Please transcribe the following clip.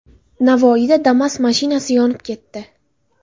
Navoiyda Damas mashinasi yonib ketdi .